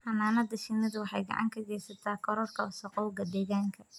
Xannaanada shinnidu waxay gacan ka geysataa kororka wasakhowga deegaanka.